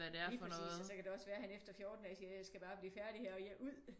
Lige præcis og så kan det også være han efter 14 dage siger jeg skal bare blive færdig her og ud